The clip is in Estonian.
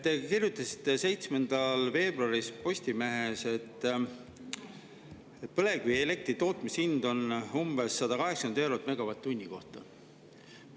Te kirjutasite 7. veebruaril Postimehes, et põlevkivielektri tootmishind on umbes 180 eurot megavatt-tunni kohta.